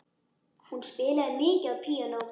Hún spilaði mikið á píanó.